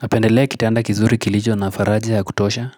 Napendelea kitanda kizuri kilicho na faraja ya kutosha.